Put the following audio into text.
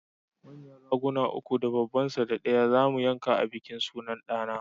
Manyan Raguna uku da babban sa ɗaya zamu yanka a bikin sunan ɗa na